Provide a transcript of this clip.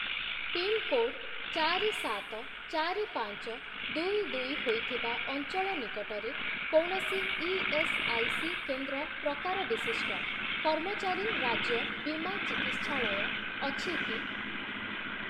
Pin code ଚାରି, ସାତ, ଚାରି, ପାଞ୍ଚ, ଦୁଇ, ଦୁଇ ହୋଇଥିବା ଅଞ୍ଚଳ ନିକଟରେ କୌଣସି ଇଏସ୍ଆଇସି କେନ୍ଦ୍ର ପ୍ରକାର ବିଶିଷ୍ଟ କର୍ମଚାରୀ ରାଜ୍ୟ ବୀମା ଚିକିତ୍ସାଳୟ ଅଛି କି?